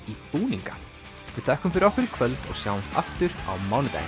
í búninga við þökkum fyrir okkur í kvöld og sjáumst aftur á mánudaginn